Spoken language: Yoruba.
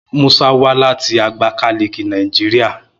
Musa wa lati Agbakaliki, Nigeria